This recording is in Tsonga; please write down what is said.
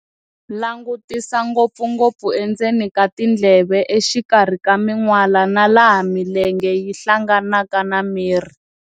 Langutisa ngopfungopfu endzeni ka tindleve, exikarhi ka minwala, na laha milenge yi hlanganaka na miri.